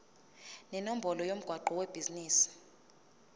nenombolo yomgwaqo webhizinisi